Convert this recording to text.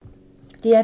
DR P2